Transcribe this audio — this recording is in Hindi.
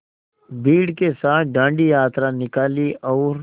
भीड़ के साथ डांडी यात्रा निकाली और